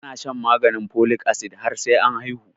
Ana shan maganin folic acid har sai an haihu